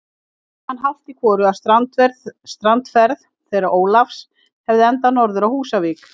Minnti hann hálft í hvoru, að strandferð þeirra Ólafs hefði endað norður á Húsavík.